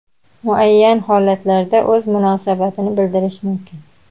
muayyan holatlarga o‘z munosabatini bildirishi mumkin.